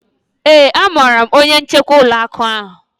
ee, amaara m onye njikwa ụlọ akụ